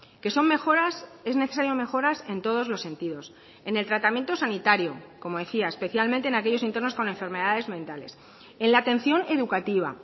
que son mejoras es necesario mejoras en todos los sentidos en el tratamiento sanitario como decía especialmente en aquellos internos con enfermedades mentales en la atención educativa